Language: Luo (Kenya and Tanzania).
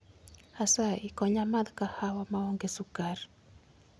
Asayi konya amath kahawa maonge sukar